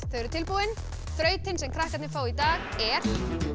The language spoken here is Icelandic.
eru tilbúin þrautin sem krakkarnir fá í dag er